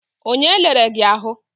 Onye lere gị ahụ?